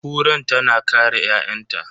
Kuran tana kare ƴa'ƴanta.